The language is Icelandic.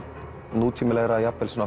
nútímalegra jafnvel svona